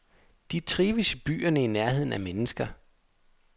De trives i byerne i nærheden af mennesker.